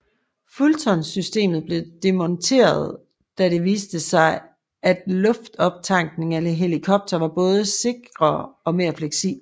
Fulton systemet blev demonteret da det viste sig at luftoptankning af helikoptere var både sikrere og mere fleksibelt